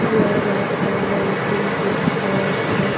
प्यारा सा लाइटिंग के साथ रहा--